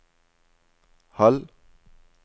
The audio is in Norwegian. halv